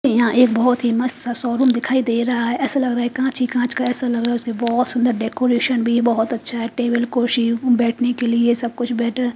यहाँ एक बहोत ही मस्त शोरूम दिखाई दे रहा है ऐसा लग रहा है कांच ही कांच का ऐसा लग रहा बहोत सुन्दर डेकोरेशन भी बहोत अच्छा है टेबल कुर्सी बैठ ने के लिए सब कुछ बैठ न--